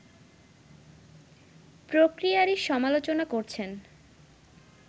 প্রক্রিয়ারই সমালোচনা করছেন